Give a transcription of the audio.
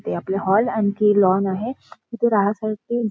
ते आपले हॉल आणखी लॉन आहे तिथे राहासाठी--